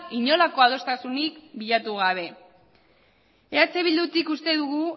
inolako adostasunik bilatu gabe eh bildutik uste dugu